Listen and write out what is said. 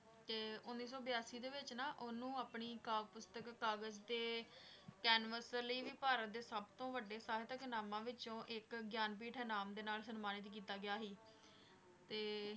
ਤੇ ਉੱਨੀ ਸੋ ਬਿਆਸੀ ਦੇ ਵਿੱਚ ਨਾ ਉਹਨੂੰ ਆਪਣੀ ਕਾਵਿ ਪੁਸਤਕ ਕਾਗਜ਼ ਤੇ ਕੈਨਵਸ ਲਈ ਵੀ ਭਾਰਤ ਦੇ ਸਭ ਤੋਂ ਵੱਡੇ ਸਾਹਿਤਕ ਇਨਾਮਾਂ ਵਿੱਚੋਂ ਇੱਕ, ਗਿਆਨਪੀਠ ਇਨਾਮ ਦੇ ਨਾਲ ਸਨਮਾਨਿਤ ਕੀਤਾ ਗਿਆ ਸੀ ਤੇ